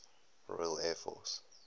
royal air force